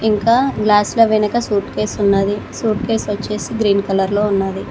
ఇంకా గ్లాస్ల వెనుక సూట్ కేసు ఉన్నది సూట్ కేసు వచ్చేసి గ్రీన్ కలర్ లో ఉన్నది.